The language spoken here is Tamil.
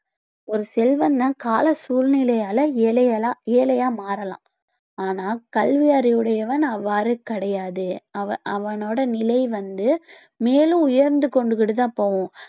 ஒரு செல்வந்தன் கால சூழ்நிலையால ஏழைகளா எழையா மாறலாம் ஆனா கல்வி அறிவுடையவன் அவ்வாறு கிடையாது அவ~ அவனோட நிலை வந்து மேலும் உயர்ந்து கொண்டு கிட்டு தான் போகும்